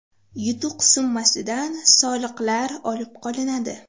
Yutuq summasidan soliqlar olib qolinadi.